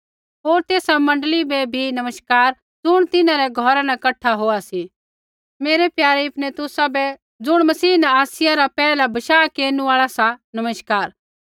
होर तेसा मण्डली बै भी नमस्कार ज़ुण तिन्हां रै घौरा न कठा होआ सी मेरै प्यारे इपैनितुस बै ज़ुण मसीह न आसिया रा पैहला बशाह केरनु आल़ा सा नमस्कार